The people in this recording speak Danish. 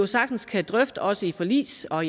sagtens kan drøfte også i forligs og